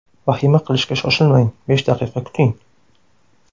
Vahima qilishga shoshilmang: besh daqiqa kuting.